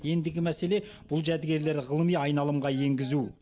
ендігі мәселе бұл жәдігерлерді ғылыми айналымға енгізу